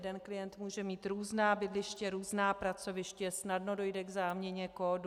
Jeden klient může mít různá bydliště, různá pracoviště, snadno dojde k záměně kódu.